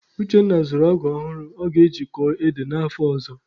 Uchenna zụrụ ọgụ ọhụrụ ọ ga-eji kọọ ede n'afọ ọzọ.